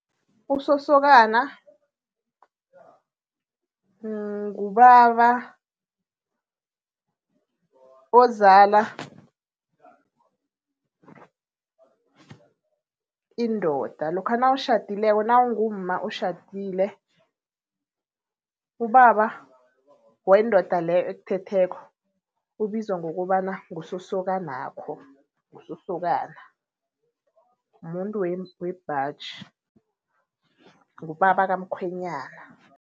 Usosokana ngubaba ozala indoda, lokha nawutjhadileko nawungumma otjhadile. Ubaba wendoda leyo ekuthetheko ubizwa ngokobana ngusosokanakho, ngusosokana, muntu webhaji, ngubaba kamkhwenyana.